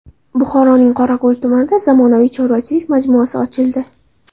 Buxoroning Qorako‘l tumanida zamonaviy chorvachilik majmuasi ochildi.